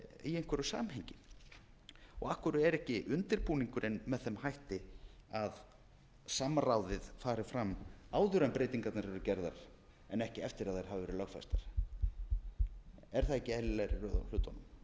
í einhverju samhengi og af hverju er ekki undirbúningurinn með þeim hætti að samráðið fari fram áður en breytingarnar eru gerðar en ekki eftir að þær hafa verið lögfestar er það ekki eðlilegri röð á hlutunum ég skil